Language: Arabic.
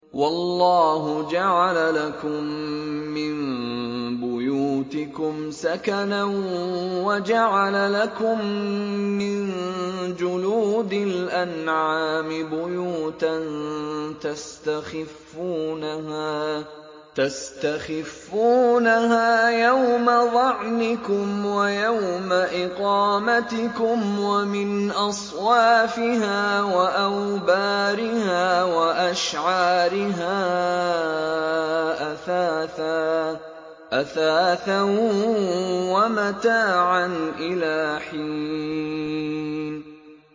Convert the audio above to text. وَاللَّهُ جَعَلَ لَكُم مِّن بُيُوتِكُمْ سَكَنًا وَجَعَلَ لَكُم مِّن جُلُودِ الْأَنْعَامِ بُيُوتًا تَسْتَخِفُّونَهَا يَوْمَ ظَعْنِكُمْ وَيَوْمَ إِقَامَتِكُمْ ۙ وَمِنْ أَصْوَافِهَا وَأَوْبَارِهَا وَأَشْعَارِهَا أَثَاثًا وَمَتَاعًا إِلَىٰ حِينٍ